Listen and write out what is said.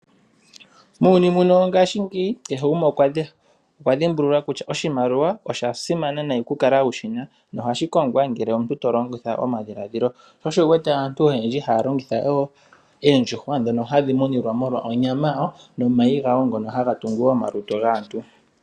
Muuyuni muno wongaashingeyi kehe gumwe okwa dhimbulula kutya oshimaliwa osha simana nayi okukala wu shi na nohashi kongwa ngele omuntu to longitha omadhiladhilo. Sho osho wu wete aantu oyendji haya longitha oondjuhwa ndhono hadhi munilwa molwonyama yawo nomayi gawo ngono haga tungu omalutu gaantu.